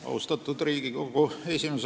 Austatud Riigikogu esimees!